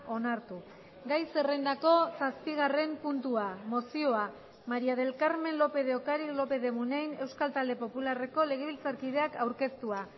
onartu gai zerrendako zazpigarren puntua mozioa maría del carmen lópez de ocariz lópez de munain euskal talde popularreko legebiltzarkideak aurkeztua